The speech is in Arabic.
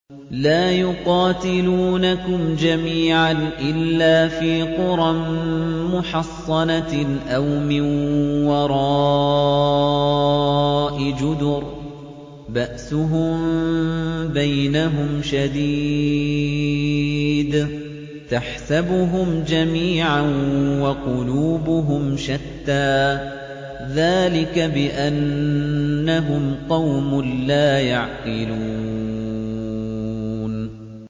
لَا يُقَاتِلُونَكُمْ جَمِيعًا إِلَّا فِي قُرًى مُّحَصَّنَةٍ أَوْ مِن وَرَاءِ جُدُرٍ ۚ بَأْسُهُم بَيْنَهُمْ شَدِيدٌ ۚ تَحْسَبُهُمْ جَمِيعًا وَقُلُوبُهُمْ شَتَّىٰ ۚ ذَٰلِكَ بِأَنَّهُمْ قَوْمٌ لَّا يَعْقِلُونَ